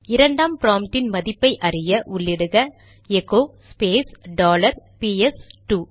இரண்டாம் ப்ராம்ப்டின் மதிப்பைஅறிய உள்ளிடுக எகோ ஸ்பேஸ் டாலர் பிஎஸ் இரண்டு